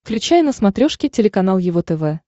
включай на смотрешке телеканал его тв